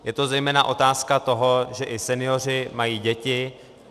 Je to zejména otázka toho, že i senioři mají děti.